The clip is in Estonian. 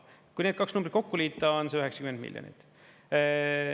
Kui need kaks numbrit kokku liita, on see 90 miljonit.